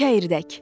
Çəyirdək.